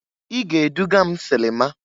I ga-eduga m silima!